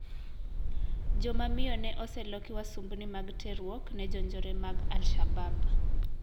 Joma miyo ne oseloki wasumbni mag terruok ne jonjore mag Al-shabab.